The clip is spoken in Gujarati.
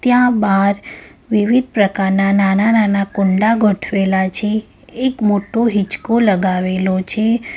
આ બાર વિવિધ પ્રકારના નાના-નાના કુંડા ગોઠવેલા છે એક મોટો હિંચકો લગાવેલો છે.